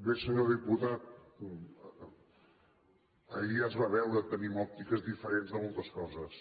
bé senyor diputat ahir ja es va veure tenim òptiques diferents de moltes coses